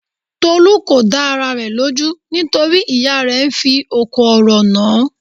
Tolú kò dá ara rẹ̀ lójú nítorí ìyá rẹ̀ fí òkò ọ̀rọ̀ nàn án.